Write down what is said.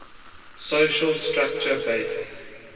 social structure based